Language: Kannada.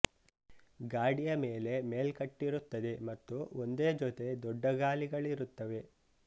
ಗಾಡಿಯ ಮೇಲೆ ಮೇಲ್ಕಟ್ಟಿರುತ್ತದೆ ಮತ್ತು ಒಂದೇ ಜೊತೆ ದೊಡ್ಡ ಗಾಲಿಗಳಿರುತ್ತವೆ